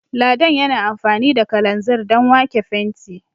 Ladan yana amfani da kalanzir Dan wake fenti